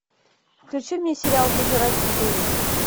включи мне сериал пожиратель душ